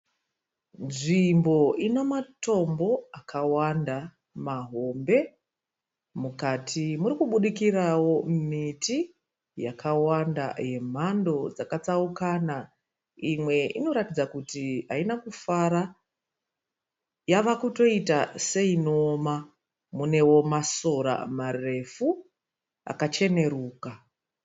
Nzvimbo inomatombo akawanda mahombe. Mukati murikubudikirawo miti yakawanda yemhando dzakatsaukana. Imwe inoratidza kuti haina kufara, yavakutoita seinoona. Munewo masora marefu akacheneruka.